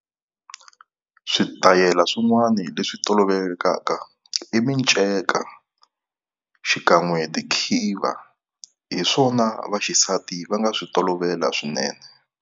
Switayela swin'wani leswi tolovekaka i minceka xikan'we tikhiva. Hi swona vaxisati va nga swi tolovela swinene.